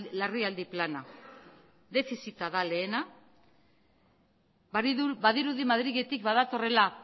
larrialdi plana defizita da lehena badirudi madriletik badatorrela